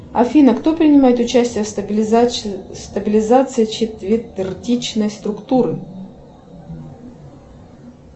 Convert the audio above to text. афина кто принимает участие в стабилизации четвертичной структуры